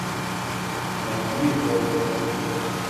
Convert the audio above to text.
найди голос степи